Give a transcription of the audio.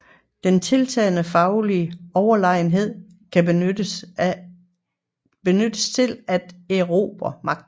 Den tiltagende faglige Overlegenhed kan benyttes til at erobre Magten